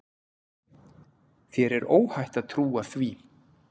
Þér er óhætt að trúa því.